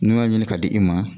N'i y'a ɲini k'a di i ma